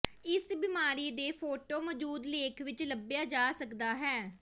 ਇਸ ਬਿਮਾਰੀ ਦੇ ਫ਼ੋਟੋ ਮੌਜੂਦ ਲੇਖ ਵਿੱਚ ਲੱਭਿਆ ਜਾ ਸਕਦਾ ਹੈ